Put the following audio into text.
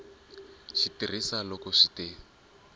xi tirhisa loko swi te